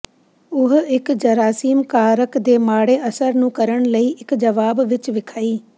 ਉਹ ਇੱਕ ਜਰਾਸੀਮ ਕਾਰਕ ਦੇ ਮਾੜੇ ਅਸਰ ਨੂੰ ਕਰਨ ਲਈ ਇੱਕ ਜਵਾਬ ਵਿੱਚ ਵਿਖਾਈ